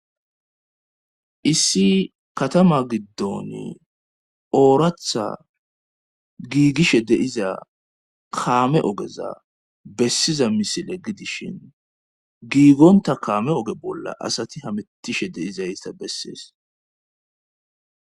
Issi katama giddoni ooratha giigishe de'iza kaame ogeza bessiza misile gidishin giigonta kaame oge bolla asati hamittishe deizaysta bessees.